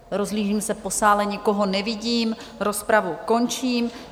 Rozhlížím se po sále, nikoho nevidím, rozpravu končím.